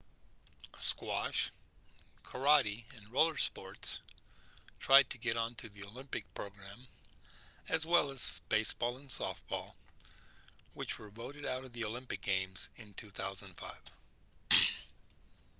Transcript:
squash karate and roller sports tried to get onto the olympic program as well as baseball and softball which were voted out of the olympic games in 2005